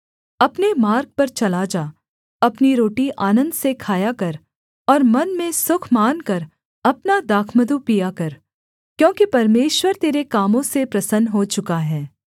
अपने मार्ग पर चला जा अपनी रोटी आनन्द से खाया कर और मन में सुख मानकर अपना दाखमधु पिया कर क्योंकि परमेश्वर तेरे कामों से प्रसन्न हो चुका है